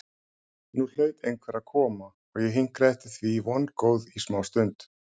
Nú hlaut einhver að koma og ég hinkraði eftir því vongóð í smástund.